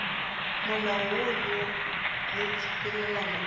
molao woo le tshepelelano le